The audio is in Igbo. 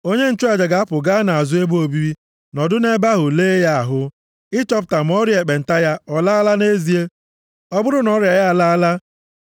Onye nchụaja ga-apụ gaa nʼazụ ebe obibi nọdụ nʼebe ahụ lee ya ahụ, ịchọpụta ma ọrịa ekpenta ya ọ laala nʼezie. Ọ bụrụ na ọrịa ya alaala,